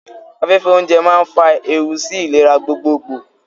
Afẹ́fẹ́ oúnjẹ máa ń fa ewu sí ìlera gbogbogbò.